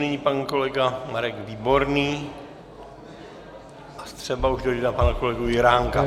Nyní pan kolega Marek Výborný a třeba už dojde na pana kolegu Juránka.